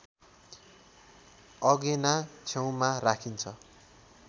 अगेना छेउमा राखिन्छ